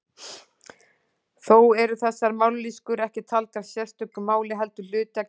Þó eru þessar mállýskur ekki taldar sérstök mál heldur hluti af kínversku.